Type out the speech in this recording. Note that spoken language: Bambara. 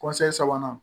sabanan